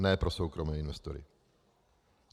Ne pro soukromé investory.